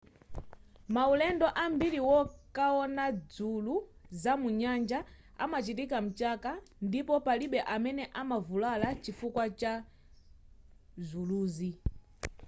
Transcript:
maulendo ambiri wokaona dzulu za munyanja amachitika mchaka ndipo palibe amene amavulala chifukwa chazuluzi